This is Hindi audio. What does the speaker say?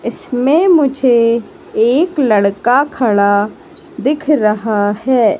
इसमें मुझे एक लड़का खड़ा दिख रहा है।